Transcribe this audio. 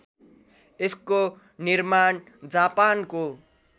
यसको निर्माण जापानको